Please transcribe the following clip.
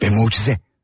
Və möcüzə.